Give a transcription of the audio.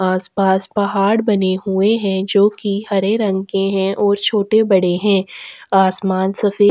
आसपास पहाड़ बने हुए है जो की हरे रंग के है और छोटे - बड़े है आसामान सफेद --